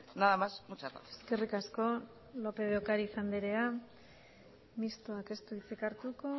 nada más muchas gracias eskerrik asko lópez de ocariz andrea mistoak ez du hitzik hartuko